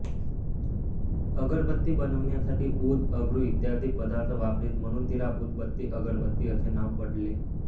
अगरबत्ती बनविण्यासाठी ऊद अगरू इत्यादी पदार्थ वापरीत म्हणून तिला उदबत्ती अगरबत्ती असे नाव पडले